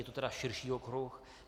Je to tedy širší okruh.